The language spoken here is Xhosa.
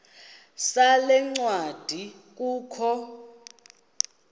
sale ncwadi kukho